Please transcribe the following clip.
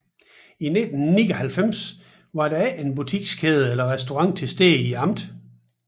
Indtil 1999 var der ikke en butikskæde eller restaurant tilstede i amtet